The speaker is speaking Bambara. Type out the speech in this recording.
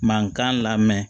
Mankan lamɛn